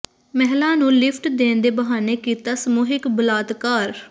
ਮਹਿਲਾ ਨੂੰ ਲਿਫ਼ਟ ਦੇਣ ਦੇ ਬਹਾਨੇ ਕੀਤਾ ਸਮੂਹਿਕ ਬਲਾਤਕਾਰ